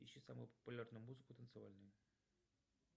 ищи самую популярную музыку танцевальную